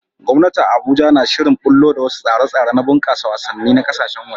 Gwamnati a Abuja na shirin ɓullo da wasu tsare-tsare na bunƙasa wasanni na ƙasashen waje